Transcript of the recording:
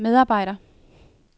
medarbejder